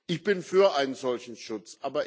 Ich bin für einen solchen Schutz.